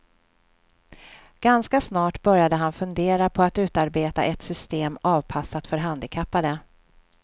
Ganska snart började han fundera på att utarbeta ett system avpassat för handikappade.